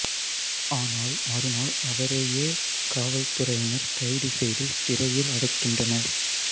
ஆனால் மறுநாள் அவரையே காவல்துறையினர் கைது செய்து சிறையில் அடைக்கின்றனர்